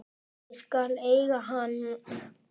Ég skal eiga hann.